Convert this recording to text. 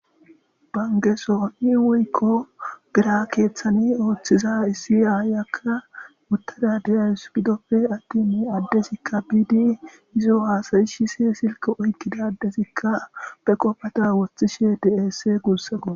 Bankeson woyikko bira keththan oththiza issi ayiyakka utada de'wus gidoppe atin izo hasayisishshe silke oyikkida adezikka be qofada woththishshe de'es gusakko